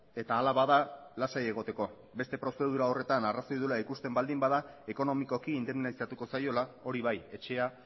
eta ala bada lasai egoteko beste prozedura horretan arrazoia duela ikusten baldin bada ekonomikoki indemnizatuko zaiola hori bai etxea